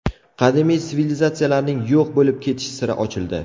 Qadimiy sivilizatsiyalarning yo‘q bo‘lib ketish siri ochildi.